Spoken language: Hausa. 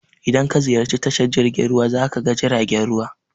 In ka ziyarci tashar jirgin ruwa za ka ga jiragen ruwa.